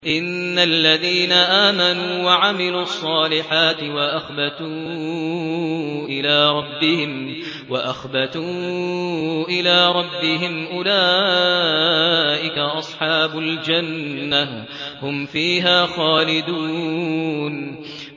إِنَّ الَّذِينَ آمَنُوا وَعَمِلُوا الصَّالِحَاتِ وَأَخْبَتُوا إِلَىٰ رَبِّهِمْ أُولَٰئِكَ أَصْحَابُ الْجَنَّةِ ۖ هُمْ فِيهَا خَالِدُونَ